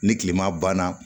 Ni kilema banna